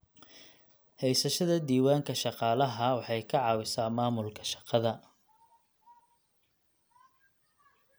Haysashada diiwaanka shaqaalaha waxay ka caawisaa maamulka shaqada.